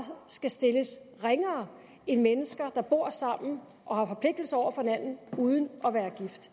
skal stilles ringere end mennesker der bor sammen og har forpligtelser over for hinanden uden at være gift